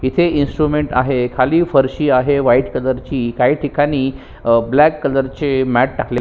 इथे इंस्ट्रुमेंट्स आहे खाली फरशी आहे व्हाइट कलर ची काही ठिकाणी ब्लॅक कलर चे मॅट टाकलेले--